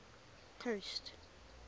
coast